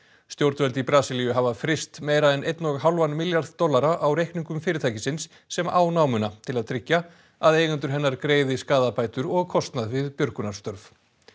stjórnvöld í Brasilíu hafa fryst meira en einn og hálfan milljarð dollara á reikningum fyrirtækisins sem á námuna til að tryggja að eigendur hennar greiði skaðabætur og kostnað við björgunarstörf